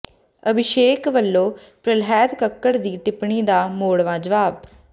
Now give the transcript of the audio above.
ਅਭਿਸ਼ੇਕ ਵੱਲੋਂ ਪ੍ਰਹਿਲਾਦ ਕੱਕੜ ਦੀ ਟਿੱਪਣੀ ਦਾ ਮੋੜਵਾਂ ਜਵਾਬ